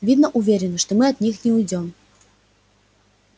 видно уверены что мы от них не уйдём